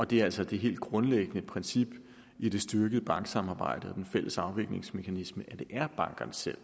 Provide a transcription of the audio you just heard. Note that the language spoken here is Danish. det er altså det helt grundlæggende princip i det styrkede banksamarbejde og den fælles afviklingsmekanisme at det er bankerne selv